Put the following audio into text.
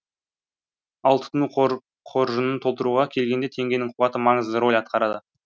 ал тұтыну қоржынын толтыруға келгенде теңгенің қуаты маңызды рөл атқарады